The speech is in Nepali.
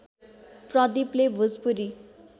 प्रदिपले भोजपुरी